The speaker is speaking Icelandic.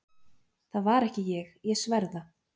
Það var ekki ég, ég sver það!